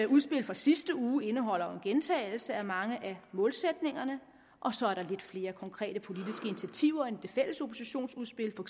udspil fra sidste uge indeholder jo en gentagelse af mange af målsætningerne og så er der lidt flere konkrete politiske initiativer end i det fælles oppositionsudspil for